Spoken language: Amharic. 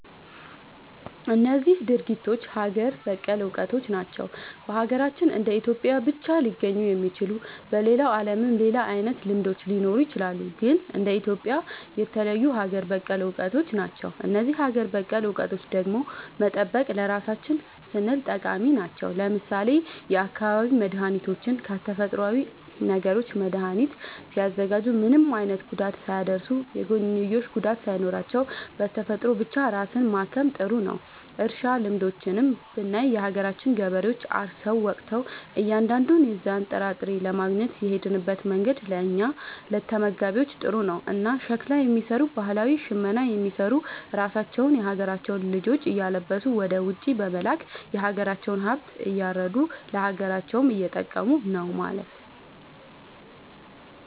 እነዚህ ድርጊቶች ሀገር በቀል እውቀቶች ናቸው። በሀገራችን እንደ ኢትዮጵያ ብቻ ሊገኙ የሚችሉ። በሌላው ዓለምም ሌላ አይነት ልምዶች ሊኖሩ ይችላሉ። ግን እንደ ኢትዮጵያ የተለዩ ሀገር በቀል እውቀቶች ናቸው። እነዚህን ሀገር በቀል እውቀቶች ደግሞ መጠበቅ ለራሳችን ስንል ጠቃሚ ናቸው። ለምሳሌ የአካባቢ መድኃኒቶችን ከተፈጥሮዊ ነገሮች መድኃኒት ሲያዘጋጁ ምንም አይነት ጉዳት ሳያደርሱ፣ የጎንዮሽ ጉዳት ሳይኖራቸው፣ በተፈጥሮ ብቻ ራስን ማከም ጥሩ ነዉ። እርሻ ልምዶችንም ብናይ የሀገራችን ገበሬዎች አርሰው ወቅተው እያንዳንዱን የዛን ጥራጥሬ ለማግኘት የሚሄድበት መንገድ ለእኛ ለተመጋቢዎች ጥሩ ነው። እና ሸክላ የሚሰሩ ባህላዊ ሽመና የሚሰሩ ራሳቸውን የሀገራቸውን ልጆች እያለበሱ ወደ ውጪ በመላክ የሀገራቸውን ሃብት እያረዱ ለሀገራቸውም እየጠቀሙ ነው ማለት።